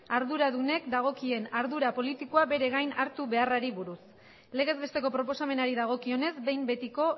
arduradunek dagokien ardura politikoa bere gain hartu beharrari buruz legez besteko proposamenari dagokionez behin betiko